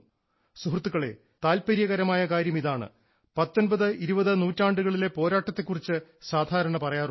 സുഹൃത്തുക്കളേ താല്പര്യകരമായ കാര്യം ഇതാണ് 19 20 നൂറ്റാണ്ടുകളിലെ പോരാട്ടത്തെ കുറിച്ച് സാധാരണ പറയാറുണ്ട്